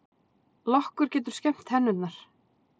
Lokkur getur skemmt tennurnar